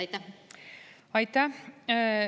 Aitäh!